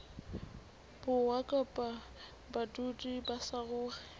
borwa kapa badudi ba saruri